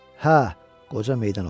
Hə, qoca meydan oxudu.